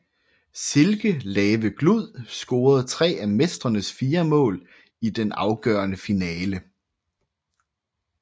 Silke Lave Glud scorede tre af mestrenes fire mål i den afgørende finale